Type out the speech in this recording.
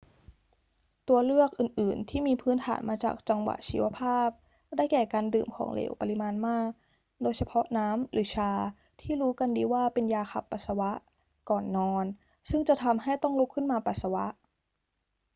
ตัวเลือกอื่น ๆ ที่มีพื้นฐานมาจากจังหวะชีวภาพ ได้แก่ การดื่มของเหลวปริมาณมาก โดยเฉพาะน้ำหรือชาที่รู้กันดีว่าเป็นยาขับปัสสาวะ ก่อนนอน ซึ่งจะทำให้ต้องลุกขึ้นมาปัสสาวะ